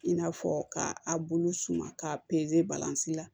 I n'a fɔ k'a bolo suma k'a balansi la